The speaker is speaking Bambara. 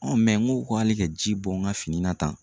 n ko k'ale ka ji bɔn n ka fini na tan